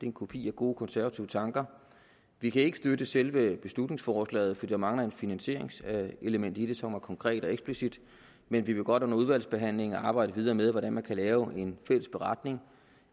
en kopi af gode konservative tanker vi kan ikke støtte selve beslutningsforslaget for der mangler et finansieringselement i det som er konkret og eksplicit men vi vil godt under udvalgsbehandlingen arbejde videre med hvordan man kan lave en fælles beretning